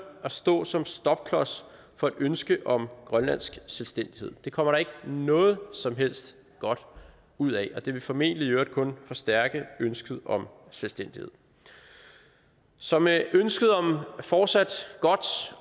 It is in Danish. at stå som stopklods for et ønske om grønlandsk selvstændighed det kommer der ikke noget som helst godt ud af og det vil formentlig i øvrigt kun forstærke ønsket om selvstændighed så med ønsket om fortsat godt